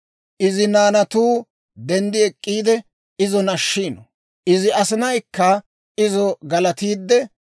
Izi naanatuu denddi ek'k'iide, izo nashshiino; Izi asinaykka izo galatiidde,